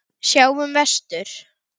Sjáum vestur.